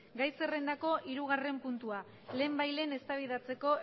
gai zerrendako hirugarren puntua lehenbailehen eztabaidatzeko